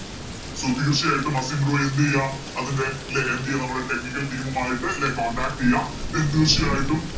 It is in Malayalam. So തീർച്ചയായിട്ടും അസിൻ റോയി എന്തെയ്യ അതിൻറെ ലെ MD നമ്മടെ Technical team ഉമായിട്ട് ലെ Contact ചെയ്യ തീർച്ചയായിട്ടും